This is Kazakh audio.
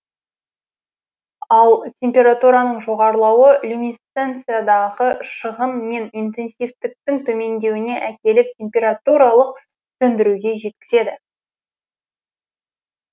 ал температураның жоғарылауы люминесценциядағы шығын мен интенсивтіктің төмендеуіне әкеліп температуралық сөндіруге жеткізеді